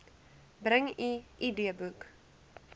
bring u idboek